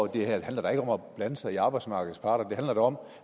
det handler ikke om at blande sig i arbejdsmarkedets parter det handler om